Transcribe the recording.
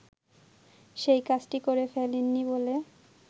সেই কাজটি করে ফেলেননি বলে